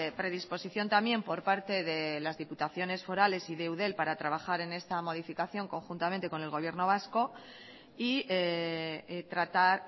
predisposición también por parte de las diputaciones forales y de eudel para trabajar en esta modificación conjuntamente con el gobierno vasco y tratar